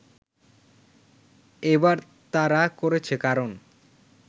এবার তারা করেছে কারণ